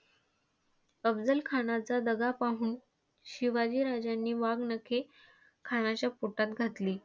अफझलखानाचा दगा पाहून, शिवाजी राजांनी वाघनखे खानाच्या पोटात घातली.